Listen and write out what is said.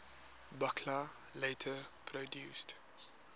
buchla later produced